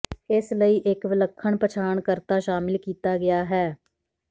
ਇਸ ਲਈ ਇੱਕ ਵਿਲੱਖਣ ਪਛਾਣਕਰਤਾ ਸ਼ਾਮਿਲ ਕੀਤਾ ਗਿਆ ਹੈ